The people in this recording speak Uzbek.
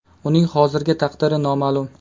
Uning hozirgi taqdiri noma’lum.